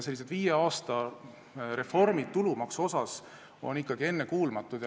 Sellised viie aasta reformid tulumaksu teemal on ikkagi ennekuulmatud.